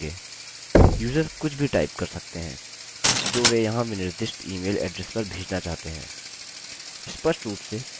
user कुछ भी type कर सकते हैं जो वे यहाँ विनिर्दिष्ट इमेल एड्रेस पर भेजना चाहते हैं